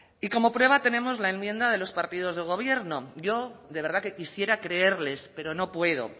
y como prueba tenemos la enmienda de los partidos de gobierno yo de verdad que quisiera creerles pero no puedo